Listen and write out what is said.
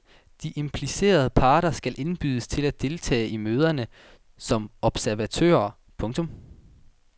De implicerede parter skal indbydes til at deltage i møderne som observatører. punktum